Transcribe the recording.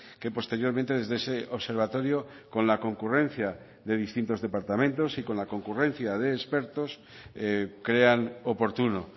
que posteriormente desde ese observatorio con la concurrencia de distintos departamentos y con la concurrencia de expertos crean oportuno